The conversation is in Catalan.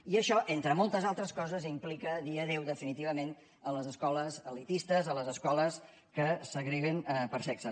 i això entre moltes altres coses implica dir adeu definitivament a les escoles elitistes a les escoles que segreguen per sexe